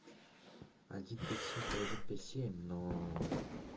один пять семь то один пять семь но